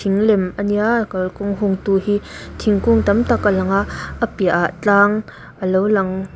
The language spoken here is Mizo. in lem a nia kalkawng hung tu hi thingkung tam tak a lang a a piahah tlang a lo lang--